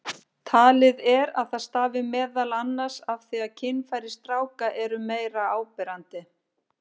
Talið er að það stafi meðal annars af því að kynfæri stráka eru meira áberandi.